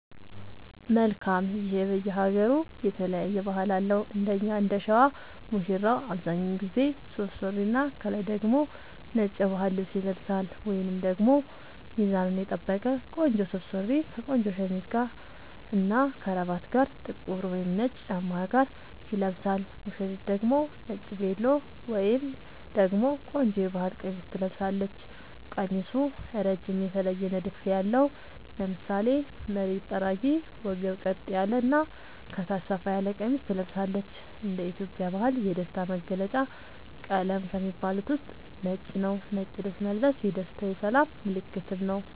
መልካም ይሄ በየ ሃገሩ የተለያየ ባህል አለው እንደኛ እንደሸዋ ሙሽራው አብዛኛውን ጊዜ ሱፍ ሱሪና ከላይ ደግሞ ነጭ የባህል ልብስ ይለብሳልወይንም ደግሞ ሚዛኑን የጠበቀ ቆንጆ ሱፍ ሱሪ ከቆንጆ ሸሚዝ እና ከረባት ጋር ጥቁር ወይም ነጭ ጫማ ጋር ይለብሳል ሙሽሪት ደግሞ ነጭ ቬሎ ወይም ደግሞ ቆንጆ የባህል ቀሚስ ትለብሳለች ቀሚሱ እረጅም የተለየ ንድፍ ያለው ( ለምሳሌ መሬት ጠራጊ ወገብ ቀጥ ያለ እና ከታች ሰፋ ያለ ቀሚስ ትለብሳለች )እንደ ኢትዮጵያ ባህል የደስታ መገልውጫ ቀለም ከሚባሉት ውስጥ ነጭ ነዉ ነጭ ልብስ መልበስ የደስታ የሰላም ምልክትም ነዉ